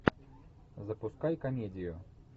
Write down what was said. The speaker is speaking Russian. запускай комедию